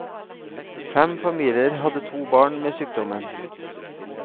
Fem familier hadde to barn med sykdommen.